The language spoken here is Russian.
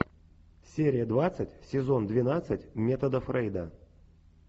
серия двадцать сезон двенадцать метода фрейда